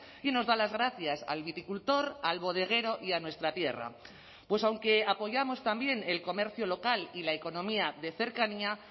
y nos da las gracias al viticultor al bodeguero y a nuestra tierra pues aunque apoyamos también el comercio local y la economía de cercanía